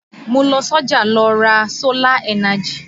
Mo lọ sọ́jà lọ ra sólà ẹ́najì